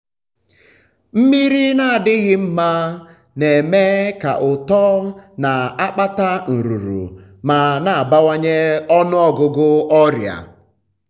mmiri na-adịghị mma na-eme ka uto na-akpata nrụrụ ma na-abawanye ọnụ ọgụgụ ọrịa